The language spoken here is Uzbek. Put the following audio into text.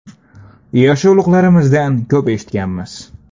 Yoshi ulug‘larimizdan ko‘p eshitganmiz.